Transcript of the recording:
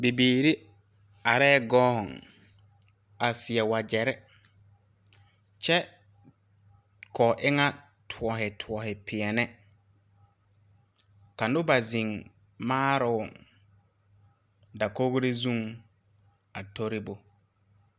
Bibiire areɛɛ gɔɔŋ a seɛ wagyɛrre kyɛ koo eŋɛ a tɔɔne tɔɔne pɛɛne ka noba zeŋ maaroŋ dakogre zuŋ a tori bo.